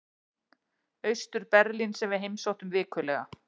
Austur-Berlín sem við heimsóttum vikulega.